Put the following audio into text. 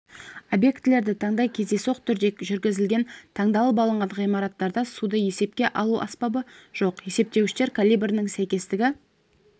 объектілерді таңдай кездейсоқ түрде жүргізілген таңдалып алынған ғимараттарда суды есепке алу аспабы жоқ есептеуіштер калибрінің сәйкестігі